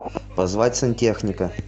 позвать сантехника